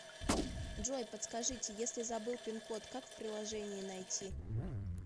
джой подскажите если забыл пин код как в приложении найти